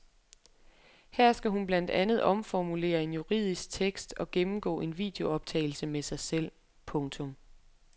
Her skal hun blandt andet omformulere en juridisk tekst og gennemgå en videooptagelse med sig selv. punktum